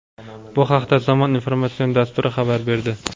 Bu haqda "Zamon" informatsion dasturi xabar berdi.